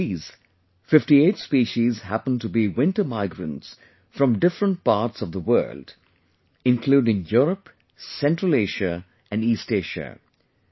And of these, 58 species happen to be winter migrants from different parts of the world including Europe, Central Asia and East Asia